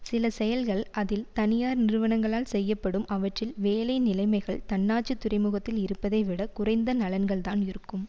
சில செயல்கள் அதில் தனியார் நிறுவனங்களால் செய்யப்படும் அவற்றில் வேலை நிலைமைகள் தன்னாட்சித் துறைமுகத்தில் இருப்பதை விட குறைந்த நலன்கள்தான் இருக்கும்